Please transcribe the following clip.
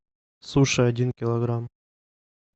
суши один килограмм